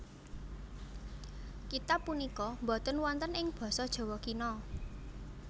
Kitab punika boten wonten ing basa Jawa Kina